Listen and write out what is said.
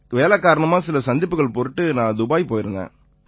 வேலை காரணமா சில சந்திப்புக்கள் பொருட்டு நான் துபாய் போயிருந்தேன்